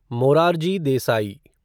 Morarji Desai